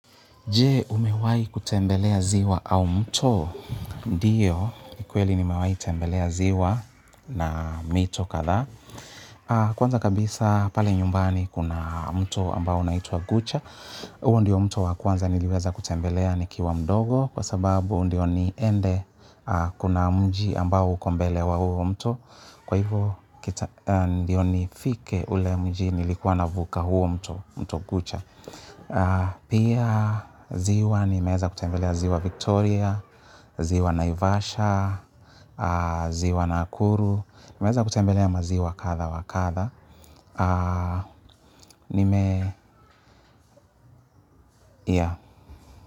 Je, umewahi kutembelea ziwa au mto. Ndiyo, kweli nimewahi tembelea ziwa na mito kadhaa. Kwanza kabisa pale nyumbani kuna mto ambao unaitwa Gucha. Huo ndio mto wa kwanza niliweza kutembelea nikiwa mdogo. Kwa sababu ndio niende kuna mji ambao uko mbele wa huo mto. Kwa hivo ndio nifike ule mji nilikuwa navuka huo mto, mto Gucha. Pia ziwa nimeweza kutembelea ziwa Victoria, ziwa Naivasha, ziwa Nakuru. Nimeweza kutembelea maziwa kadha wakadha. Nime.